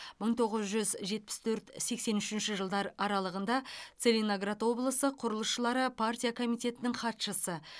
мың тоғыз жүз жетпіс төрт сексен үшінші жылдар аралығында целиноград облысы құрылысшылары партия комитетінің хатшысы